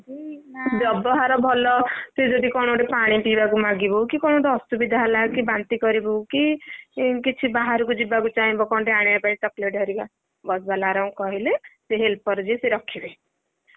ବ୍ୟବହାର ଭଲ ତୁ ଯଦି କଣ ଗୋଟେ ପାଣି ପିଇବାକୁ ମାଗିବୁ କି, କଣ ଗୋଟେ ଅସୁବିଧା ହେଲା କି, ବାନ୍ତି କରିବୁ କି, କିଛି ବାହାରକୁ ଯିବାକୁ ଚାହିଁବ କଣ ଗୋଟେ ଆଣିବାପାଇଁ chocolate ହରିକା ବସ ବାଲାଙ୍କୁକହିଲେ ସେ helper ଯିଏ ରଖିବେ।